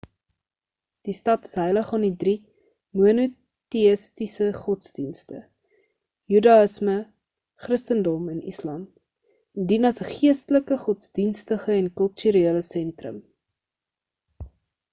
die stad is heilig aan die drie monoteïstiese godsdienste judaïsme christendom en islam en dien as 'n geestelike godsdienstige en kulturele sentrum